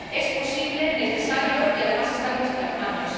Es posible, necesario y, además, está en nuestras manos.